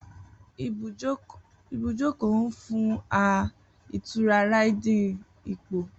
Ibujoko nfun a itura Riding ipo.